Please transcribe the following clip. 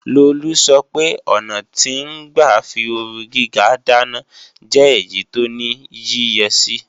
Lolú sọpe ọ̀nà tí ń gbà fí ooru gíga dáná jẹ́ èyí tó ní yíyẹsí